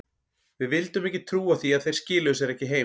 Við vildum ekki trúa því að þeir skiluðu sér ekki heim.